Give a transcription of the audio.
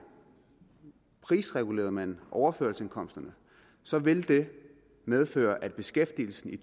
prisregulerede man overførselsindkomsterne så ville det medføre at beskæftigelsen i